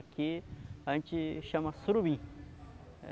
Aqui a gente chama surubim.